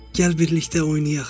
Gəl birlikdə oynayaq.